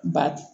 Ba